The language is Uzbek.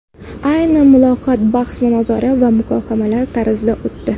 Ayni muloqot bahs-munozara va muhokamalar tarzida o‘tdi.